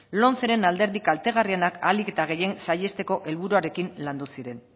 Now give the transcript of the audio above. lomceren alderdi kaltegarrienak ahalik eta gehien saihesteko helburuarekin landu ziren